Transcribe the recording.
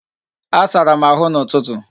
Asara m ahụ n'ụtụtụ